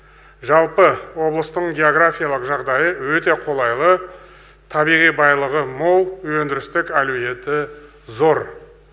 жалпы облыстың географиялық жағдайы өте қолайлы табиғи байлығы мол өндірістің әлеуеті зор